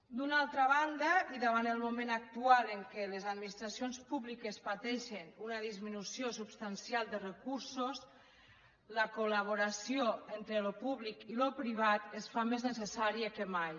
d’una altra banda i davant el moment actual en què les administracions públiques pateixen una disminució substancial de recursos la col·laboració entre el públic i el privat es fa més necessària que mai